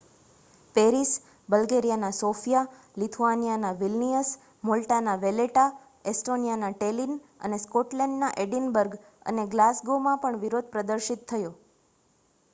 Paris બલ્ગેરિયાના Sofia લિથુઆનિયાના Vilnius મૉલ્ટાના વૅલેટા એસ્ટોનિયાના ટૅલિન અને સ્કૉટલૅન્ડના એડિનબર્ગ અને ગ્લાસગોમાં પણ વિરોધ પ્રદર્શિત થયો